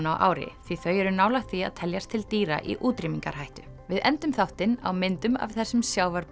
á ári því þau eru nálægt því að teljast til dýra í útrýmingarhættu við endum þáttinn á myndum af þessum